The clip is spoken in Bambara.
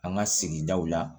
An ka sigidaw la